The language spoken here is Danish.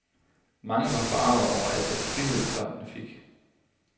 Mange var forargede over al den frihed, børnene fik.